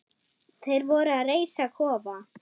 Þeir voru að reisa kofa.